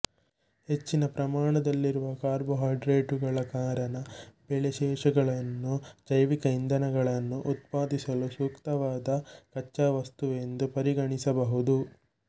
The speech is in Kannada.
ಹೆಚ್ಚಿನ ಪ್ರಮಾಣದಲ್ಲಿರುವ ಕಾರ್ಬೊಹೈಡ್ರೇಟುಗಳ ಕಾರಣ ಬೆಳೆ ಶೇಷಗಳನ್ನು ಜೈವಿಕ ಇಂಧನಗಳನ್ನು ಉತ್ಪಾದಿಸಲು ಸೂಕ್ತವಾದ ಕಚ್ಚಾ ವಸ್ತುವೆಂದು ಪರಿಗಣಿಸಬಹುದು